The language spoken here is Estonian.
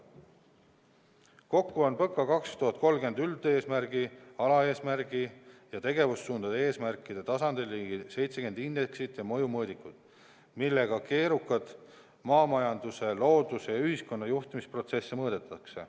Kokku on PõKa 2030 üldeesmärgi, alaeesmärgi ja tegevussuundade eesmärkide tasandil ligi 70 indeksit ja mõjumõõdikut, millega keerukaid maamajanduse, looduse ja ühiskonna juhtimise protsesse mõõdetakse.